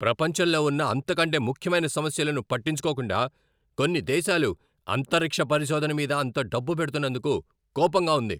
ప్రపంచంలో ఉన్న అంతకంటే ముఖ్యమైన సమస్యలను పట్టించుకోకుండా, కొన్ని దేశాలు అంతరిక్ష పరిశోధన మీద అంత డబ్బు పెడుతున్నందుకు కోపంగా ఉంది.